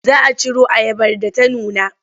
Za a ciro ayabar da ta nuna.